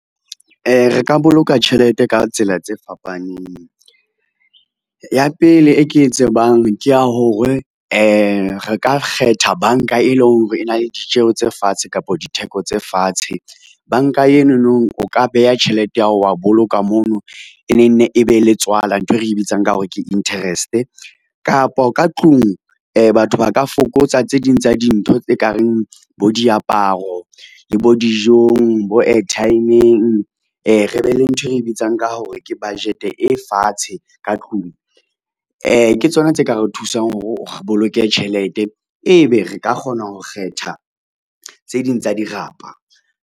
Re ka boloka tjhelete ka tsela tse fapaneng. Ya pele e ke e tsebang ke ya hore, re ka kgetha banka e leng hore e na le ditjeho tse fatshe kapa ditheko tse fatshe, banka enonong o ka beha tjhelete yao wa boloka mono, e ne nne e be le tswala nthwe re bitsang ka hore ke interest. Kapa ka tlung batho ba ka fokotsa tse ding tsa dintho tse ka reng bo diaparo, le bo dijong, bo airtime-ng, re be le nthwe re bitsang ka hore ke budget e fatshe ka tlung. Ke tsona tse ka re thusang hore o boloke tjhelete, ebe re ka kgona ho kgetha tse ding tsa dirapa.